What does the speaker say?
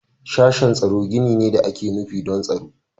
Sashen tsaro gini ne da ake nufi don tsaro.